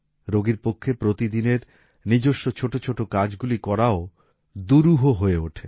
রোগীর পক্ষে প্রতিদিনের নিজস্ব ছোট ছোট কাজগুলি করাও দুরূহ হয়ে ওঠে